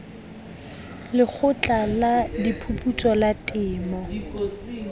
lekgotla la diphuputso la temo